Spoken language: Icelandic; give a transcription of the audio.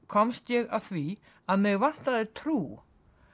komst ég að því að mig vantaði trú